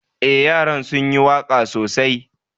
Eh, yaran sun yi waka sosai.